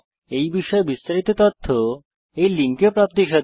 এই বিষয়ে বিস্তারিত তথ্য এই লিঙ্কে প্রাপ্তিসাধ্য